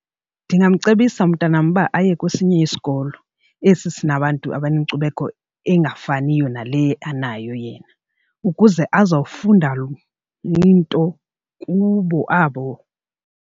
Ndingamcebisa umntanam uba aye kwesinye isikolo esi sinabantu abanenkcubeko engafaniyo nale anayo yena ukuze azofunda into kubo abo.